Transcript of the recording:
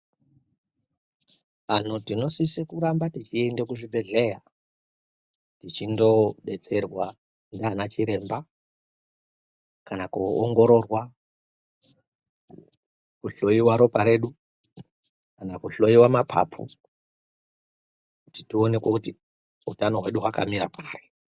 Vanthu tinosise kuramba teiyenda kuzvibhehlera tichindobetserwa ndanachiremba kana koongororwa kuhloiwa ropa redu kana kuhloiwa mapapu ,kuti tione kuti utano hwedu hwakamira pari.